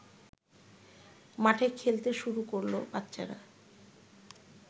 মাঠে খেলতে শুরু করল বাচ্চারা